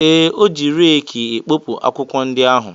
Ee, ọ ji reekị e kpopụ akwụkwọ ndị ahụ.